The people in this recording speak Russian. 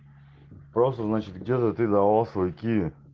просто значит где-то ты давала свой киви